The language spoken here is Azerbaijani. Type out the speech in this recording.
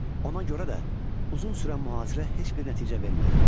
Ona görə də uzun sürən mühasirə heç bir nəticə vermədi.